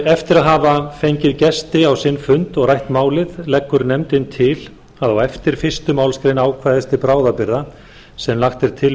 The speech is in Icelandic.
eftir að hafa fengið gesti á sinn fund og rætt málið leggur nefndin til að á eftir fyrstu málsgrein ákvæðis til bráðabirgða sem lagt er til